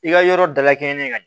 I ka yɔrɔ dalakɛɲɛ